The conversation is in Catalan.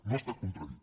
no ha estat contradit